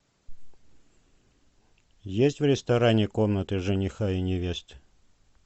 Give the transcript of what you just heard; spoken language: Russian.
есть в ресторане комнаты жениха и невесты